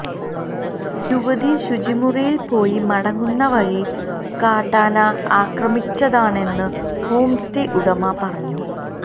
യുവതി ശുചിമുറിയില് പോയി മടങ്ങുന്ന വഴി കാട്ടാന ആക്രമിച്ചതാണെന്ന് ഹോം സ്റ്റേ ഉടമ പറഞ്ഞു